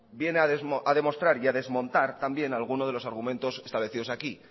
viene a demostrar y a desmontar también alguno de los argumentos establecidos aquí